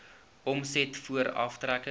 omset voor aftrekkings